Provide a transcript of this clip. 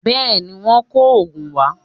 Bẹ́ẹ̀ ni, Wọ́n kò òògùn wá